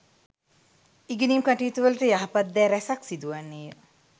ඉගෙනීම් කටයුතුවලට යහපත් දෑ රැසක් සිදුවන්නේය